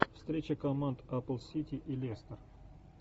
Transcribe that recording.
встреча команд апл сити и лестер